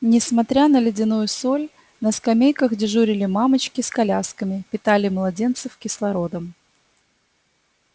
несмотря на ледяную соль на скамейках дежурили мамочки с колясками питали младенцев кислородом